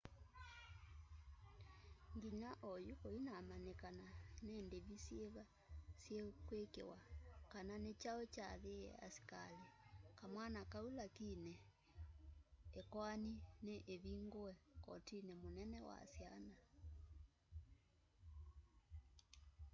nginya onyu kuinamanyikana ni ndivi syiva syikwikiwa kana ni chau chaathiiie askali kamwana kau lakini ikoani ni ivingue kotini munene wa syana